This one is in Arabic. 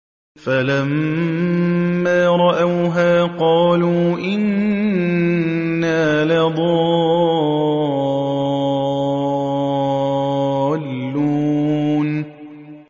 فَلَمَّا رَأَوْهَا قَالُوا إِنَّا لَضَالُّونَ